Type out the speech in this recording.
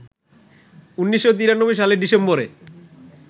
১৯৯৩ সালের ডিসেম্বরে